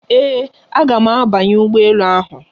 Ee, aga m abanye ụgbọ elu ahụ.